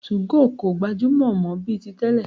2go kò gbajúmọ̀ mọ́ bíi ti tẹ́lẹ̀.